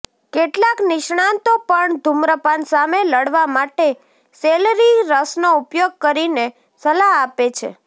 કેટલાક નિષ્ણાતો પણ ધુમ્રપાન સામે લડવા માટે સેલરિ રસનો ઉપયોગ કરીને સલાહ આપે છે